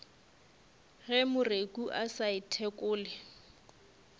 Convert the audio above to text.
ge moreku a sa ithekole